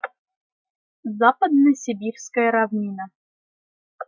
западно-сибирская равнина